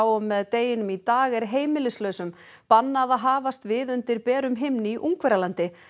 og með deginum í dag er heimilislausum bannað að hafast við undir berum himni í Ungverjalandi